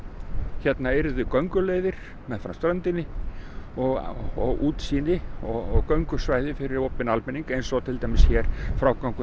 hérna yrðu gönguleiðir meðfram ströndinni og og útsýni og göngusvæði fyrir opinn almenning eins og til dæmis frágangurinn